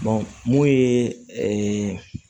mun ye